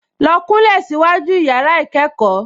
Lọ kúnlẹ̀ síwájú yàrá-ìkẹ́kọ̀ọ́